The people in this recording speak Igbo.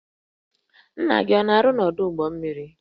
Nna gị ọ na-arụ n'ọdụ ụgbọ mmiri?